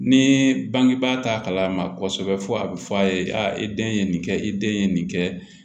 Ni bangebaa t'a kalama kɔsɔbɛ fo a bɛ fɔ a ye i den ye nin kɛ i den ye nin kɛ